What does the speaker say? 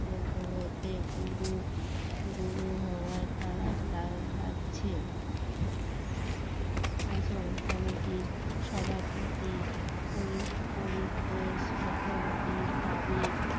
করাতে গুরু গুরু হওয়ার খারাপ লাগছে আর সেরকম কমেটির সভাপতি পরিতোষ চক্রবর্তীর দাবি